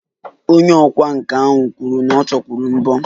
Onye ọkwá nkà ahụ kwuru na ọ chọkwuru mbọ